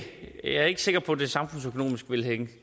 er ikke sikker på at det samfundsøkonomisk vil hænge